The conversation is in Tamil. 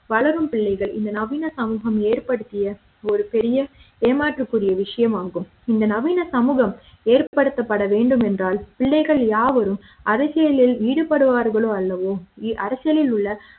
வளரும் பிள்ளைகள் இந்த நவீன சமூக ம் ஏற்படுத்திய ஒரு பெரிய ஏமாற்றக்கூடிய விஷயமாகும் இந்த நவீன தமிழக ம் ஏற்படுத்தப்பட வேண்டும் என்றால் பிள்ளைகள் யாவரும் அதை யே லில் ஈடுபடுவார்கள் அல்லவோ அரசியலில் உள்ள